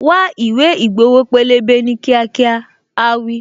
Wá ìwé ìgbowo pélébé ní kíákíá', áá wí.